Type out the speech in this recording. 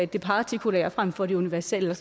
det partikulære frem for det universelle og